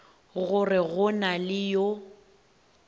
gore go na le yo